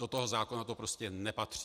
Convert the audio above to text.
Do toho zákona to prostě nepatří.